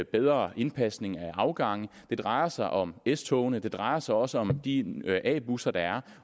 bedre indpasning af afgange det drejer sig om s togene det drejer sig også om de a busser der er